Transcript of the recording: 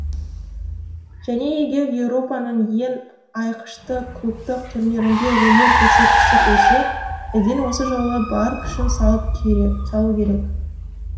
және егер еуропаның ең айқышты клубтық турнирінде өнер көрсеткісі келсе эден осы жолы бар күшін салу керек